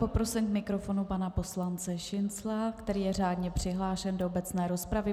Poprosím k mikrofonu pana poslance Šincla, který je řádně přihlášen do obecné rozpravy.